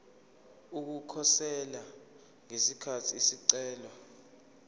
ukukhosela ngesikhathi isicelo